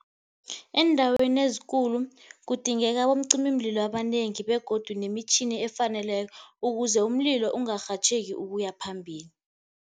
Eendaweni ezikulu kudingeka abomcimimlilo abanengi begodu nemitjhini efaneleko, ukuze umlilo ungarhatjheki ukuyaphambili.